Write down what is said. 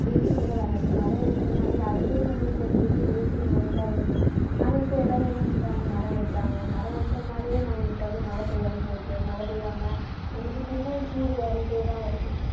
AC கூட வேண்டாம். இந்த மரம் இருக்கறதுனாலயே அதுவே நம்மளுக்கு ஒரு பெரிய AC மாதிரிதான் இருந்தது. ஆனா, இப்ப எல்லாரும் என்ன பண்றாங்க? மரம் வெட்டுறாங்க மரம் வெட்டுறதுனாலயே, நம்மளுக்கு வந்து மழை பெய்யாம போகுது மழை பெய்யாம நம்மளுக்கு திரும்பவும் சூடு ஏறிட்டேதான் வருது.